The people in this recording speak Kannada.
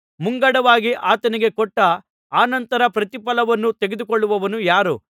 ಮುಂಗಡವಾಗಿ ಆತನಿಗೆ ಕೊಟ್ಟು ಆನಂತರ ಪ್ರತಿಫಲವನ್ನು ತೆಗೆದುಕೊಳ್ಳುವವನು ಯಾರು